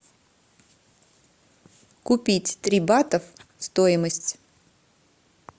купить три батов стоимость